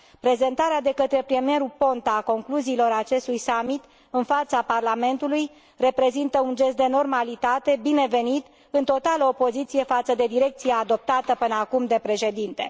Prezentarea de către premierul Ponta a concluziilor acestui summit, în fața Parlamentului, reprezintă un gest de normalitate binevenit, în totală opoziție față de direcția adoptată până acum de Președinte.